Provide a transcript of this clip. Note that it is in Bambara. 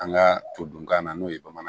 An ka todukan na n'o ye bamanankan ye